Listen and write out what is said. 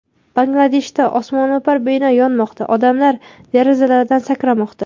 Bangladeshda osmono‘par bino yonmoqda: odamlar derazalardan sakramoqda .